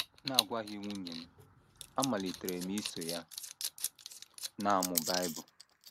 N’agwaghị nwunye m, amalitere m iso ya na - amụ Bible.